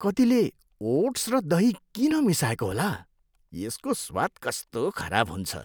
कतिले ओट्स र दही किन मिसाउँएको होला? यसको स्वाद कस्तो खराब हुन्छ।